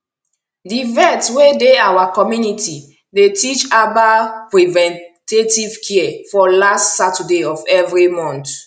the vet wey dey our community dey teach herbal preventative care for last saturday of every month